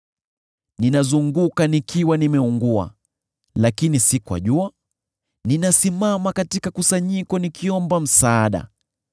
Ninazunguka nikiwa nimeungua, lakini si kwa jua; ninasimama katika kusanyiko nikiomba msaada.